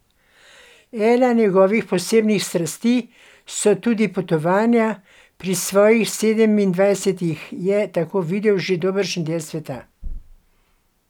Ena njegovih posebnih strasti so tudi potovanja, pri svojih sedemindvajsetih je tako videl že dobršen del sveta.